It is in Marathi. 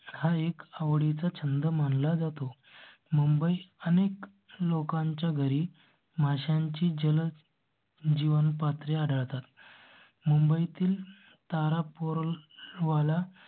एकसठ आवडी चा छंद मान ला जातो. मुंबई आणि एक लोकांच्या घरी माशांची जल जीवन पात्रे आढळतात. मुंबईतील तारापोर वाला